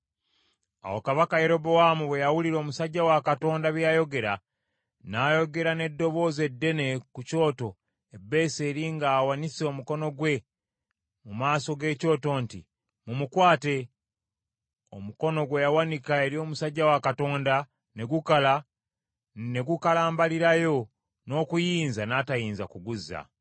Awo kabaka Yerobowaamu bwe yawulira omusajja wa Katonda bye yayogera, n’ayogera n’eddoboozi eddene ku kyoto e Beseri ng’awanise omukono gwe mu maaso g’ekyoto nti, “Mumukwate!” Omukono gwe yawanika eri omusajja wa Katonda ne gukala ne gukalambalirayo n’okuyinza n’atayinza kuguzza.